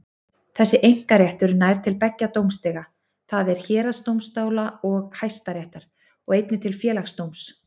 Þessi einkaréttur nær til beggja dómstiga, það er héraðsdómstóla og Hæstaréttar, og einnig til Félagsdóms.